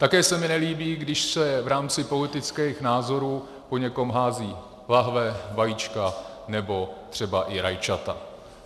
Také se mi nelíbí, když se v rámci politických názorů po někom házejí lahve, vajíčka nebo třeba i rajčata.